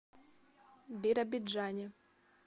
биробиджане